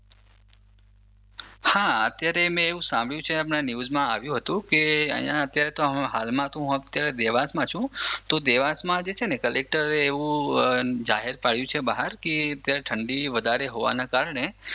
હા અત્યારે મે એવું સાંભર્યું ન્યૂઝ માં આવ્યું હતું કે અહિયાં હાલ માં તો હું અત્યારે દેવાંશમાં માં છું તો દેવાંશમાં તો છે ને કલેકટર એવું જાહેર પડયું છે બહાર કે અત્યારે ઠંડી વધારે હોવાના હોવાના કારણે.